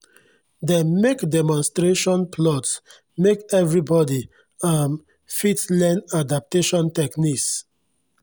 dem mek demonstration plots make everybodi um fit len adaptation techniques